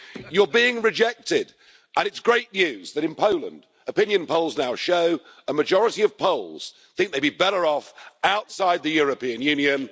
You're being rejected, and it's great news that in Poland, opinion polls now show a majority of Poles think they'd be better off outside the European Union.